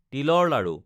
তিলৰ লাড়ু